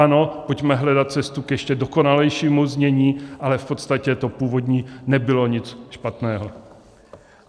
Ano, pojďme hledat cestu k ještě dokonalejšímu znění, ale v podstatě to původní nebylo nic špatného.